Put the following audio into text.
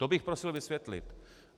To bych prosil vysvětlit.